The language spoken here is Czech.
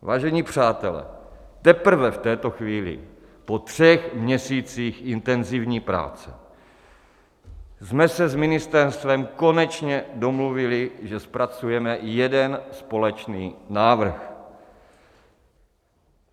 Vážení přátelé, teprve v této chvíli, po třech měsících intenzivní práce, jsme se s ministerstvem konečně domluvili, že zpracujeme jeden společný návrh.